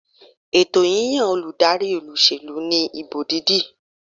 Ètò yíyan olùdarí olúsèlú ní ìbò dídì